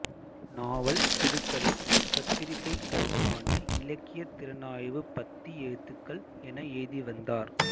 நாவல் சிறுகதை பத்திரிகைளுக்கான இலக்கியத்திறனாய்வு பத்தி எழுத்துக்கள் என எழுதி வந்தவர்